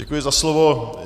Děkuji za slovo.